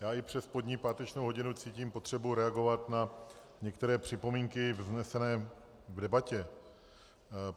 Já i přes pozdní páteční hodinu cítím potřebu reagovat na některé připomínky vznesené v debatě.